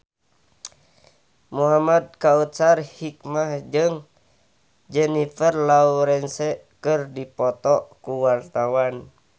Muhamad Kautsar Hikmat jeung Jennifer Lawrence keur dipoto ku wartawan